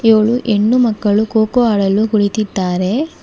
ಇವಳು ಹೆಣ್ಣು ಮಕ್ಕಳು ಕೋಕೋ ಆಡಲು ಕುಳಿತಿದ್ದಾರೆ.